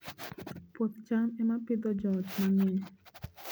Puoth cham ema Pidhoo joot mang'eny